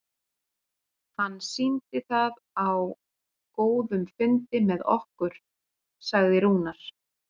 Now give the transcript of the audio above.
Hann sýndi það á góðum fundi með okkur, sagði Rúnar.